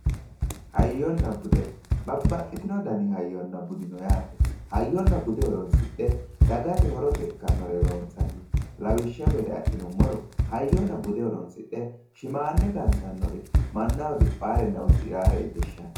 hayyonna bude ,babbaxxitino hayyonna bude no yaate hayyonna bude horonsidhe dagate ikkannore loonsanni lawishshu gede adhinummoro hayyonna bude horonsidhe shimmanne gantannore mannaho diphaarenna udiraare shiqishshanno